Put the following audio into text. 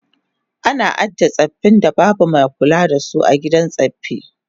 Ana ajiye tsaffin da babu mai kulawa da su a gidan tsaffi